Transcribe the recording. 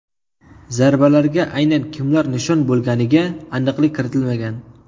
Zarbalarga aynan kimlar nishon bo‘lganiga aniqlik kiritilmagan.